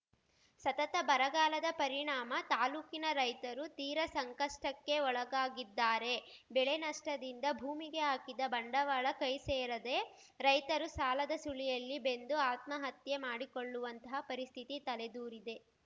ಸತತ ಬರಗಾಲದ ಪರಿಣಾಮ ತಾಲೂಕಿನ ರೈತರು ತೀರಾ ಸಂಕಷ್ಟಕ್ಕೆ ಒಳಗಾಗಿದ್ದಾರೆ ಬೆಳೆ ನಷ್ಟದಿಂದ ಭೂಮಿಗೆ ಹಾಕಿದ ಬಂಡವಾಳ ಕೈ ಸೇರದೆ ರೈತರು ಸಾಲದ ಸುಳಿಯಲ್ಲಿ ಬೆಂದು ಆತ್ಮಹತ್ಯೆ ಮಾಡಿಕೊಳ್ಳುವಂತಃ ಪರಿಸ್ಥಿತಿ ತಲೆದೂರಿದೆ